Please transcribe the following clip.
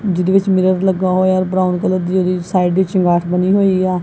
ਜਿਹਦੇ ਵਿੱਚ ਮਿਰਰ ਲੱਗਾ ਹੋਇਆ ਬਰਾਊਨ ਕਲਰ ਦੀ ਉਹਦੀ ਸਾਈਡ ਵਿੱਚ ਦੀਵਾਰ ਬਣੀ ਹੋਈ ਆ।